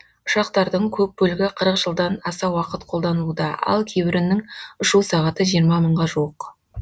ұшақтардың көп бөлігі қырық жылдан аса уақыт қолданылуда ал кейбірінің ұшу сағаты жиырма мыңға жуық